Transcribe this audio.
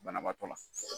Banabaatɔ la